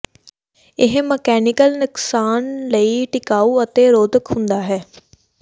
ਇਹ ਮਕੈਨਿਕਲ ਨੁਕਸਾਨ ਲਈ ਟਿਕਾਊ ਅਤੇ ਰੋਧਕ ਹੁੰਦਾ ਹੈ